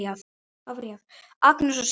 Agnes og Símon.